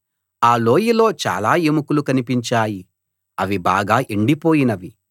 ఆ లోయలో చాలా ఎముకలు కనిపించాయి అవి బాగా ఎండిపోయినవి